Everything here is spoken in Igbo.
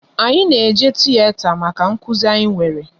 Anyị na eje tiyeta maka nkụzi anyị nwere